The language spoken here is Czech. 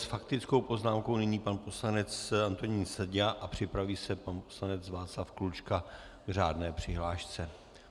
S faktickou poznámkou nyní pan poslanec Antonín Seďa a připraví se pan poslanec Václav Klučka k řádné přihlášce.